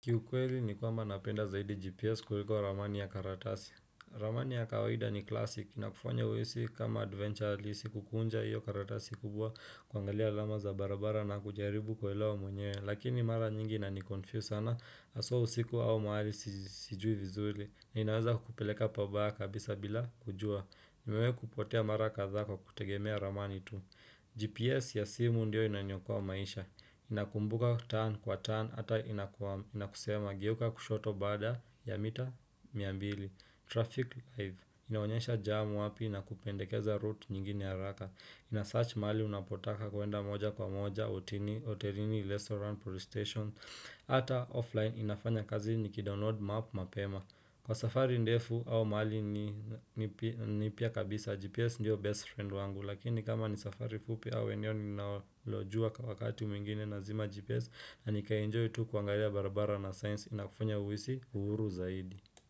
Kiukweli ni kwamba napenda zaidi GPS kuliko ramani ya karatasi. Ramani ya kawahida ni classic. Ina kufanya uhisi kama adventure alisi kukunja iyo karatasi kubwa kuangalia alama za barabara na kujaribu kuelewa mwenyewe. Lakini mara nyingi inanikonfuse sana. Haswa usiku au mahali sijui vizuli. Ninaweza kukupeleka pabaya kabisa bila kujua. Nimewahi kupotea mara kadhaa kwa kutegemea ramani tu. GPS ya simu ndio inaniokoa maisha. Ninakumbuka kwa turn ata inakusema geuka kushoto baada ya mita mia mbili Traffic live inaonyesha jam wapi na kupendekeza route nyingine ya haraka inasearch mahali unapotaka kuenda moja kwa moja hotelini restaurant police station Ata offline inafanya kazi nikidownload map mapema Kwa safari ndefu au mahali mipya kabisa GPS ndio best friend wangu Lakini kama ni safari fupi au eneo ninalojua kwa wakati mwingine nazima GPS na nikaenjoy tu kuangalia barabara na science inakufunya uisi uhuru zaidi.